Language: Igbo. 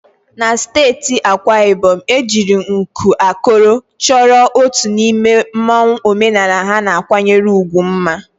Na steeti Akwa Ibom, ejiri nku akọrọ chọọ otu n'ime mmanwu omenala ha na-akwanyere ugwu mma.